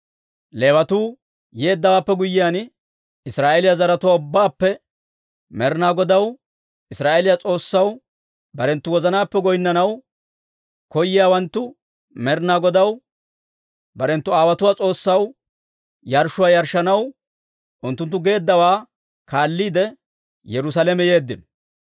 Leewatuu yeeddawaappe guyyiyaan, Israa'eeliyaa zaratuwaa ubbaappe Med'inaa Godaw, Israa'eeliyaa S'oossaw barenttu wozanaappe goynnanaw koyiyaawanttu Med'inaa Godaw, barenttu aawotuwaa S'oossaw yarshshuwaa yarshshanaw unttunttu geeduwaa kaalliide, Yerusaalame yeeddino.